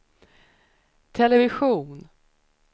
television